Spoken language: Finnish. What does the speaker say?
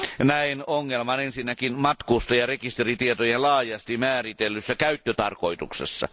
Näen ongelman ensinnäkin matkustajarekisteritietojen laajasti määritellyssä käyttötarkoituksessa.